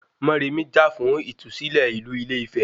Mọrèmi jà fún ìtúsílẹ̀ ìlú Ile-Ife